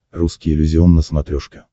русский иллюзион на смотрешке